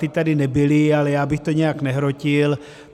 Ta tady nebyla, ale já bych to nijak nehrotil.